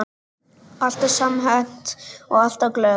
Alltaf samhent og alltaf glöð.